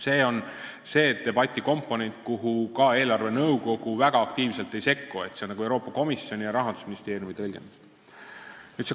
See on see debati komponent, kuhu eelarvenõukogu väga aktiivselt ei sekku, see on nagu Euroopa Komisjoni ja Rahandusministeeriumi tõlgendus.